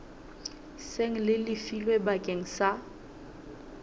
seng le lefilwe bakeng sa